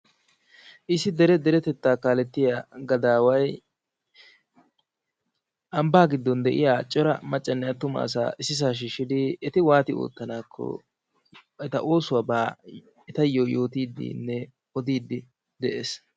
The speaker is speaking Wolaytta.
issi dere deretetta kaalettiya gaadaaway ambaa gidon de'iya cora maccanne attuma asaa issisaa shiishidi eti wati ootanaako etawu oosuwaba yootiidinne odiidi des.